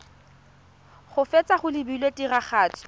go feta go lebilwe tiragatso